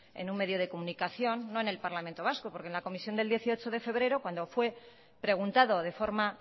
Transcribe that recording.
en un medio de comunicación no en el parlamento vasco porque en la comisión del dieciocho de febrero cuando fue preguntado de forma